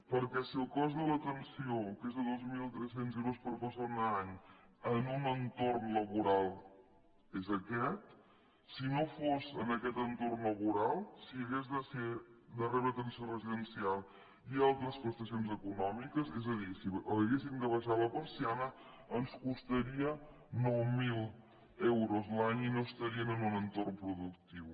perquè si el cost de l’atenció que és de dos mil tres cents euros per persona i any en un entorn laboral és aquest si no fos en aquest entorn laboral si hagués de rebre atenció residencial i altres prestacions econòmiques és a dir si haguessin d’abaixar la persiana ens costaria nou mil euros l’any i no estarien en un entorn productiu